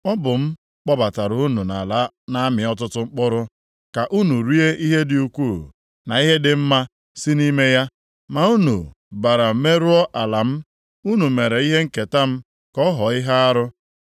Ọ bụ m kpọbatara unu nʼala na-amị ọtụtụ mkpụrụ, ka unu rie ihe dị ukwuu na ihe dị mma si nʼime ya. Ma unu bara merụọ ala m unu mere ihe nketa m ka ọ ghọọ ihe arụ.